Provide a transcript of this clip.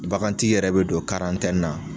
Baganti yɛrɛ bɛ don na.